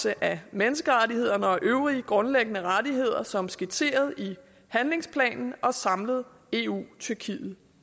at menneskerettighederne og grundlæggende rettigheder overholdes som skitseret i handlingsplan og samlet eu tyrkiet